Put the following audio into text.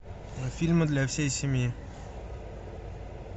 фильмы для всей семьи